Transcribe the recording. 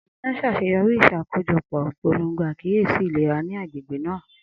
Amina ṣaṣeyọri iṣakojọpọ ipolongo akiyesi ilera ni agbegbe naa.